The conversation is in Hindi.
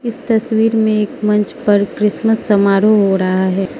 इस तस्वीर मे एक मंच पर क्रिसमस समारोह हो रहा है।